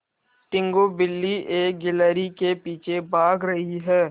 टीनगु बिल्ली एक गिल्हरि के पीछे भाग रही है